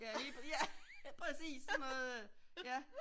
Ja lige ja præcis sådan noget ja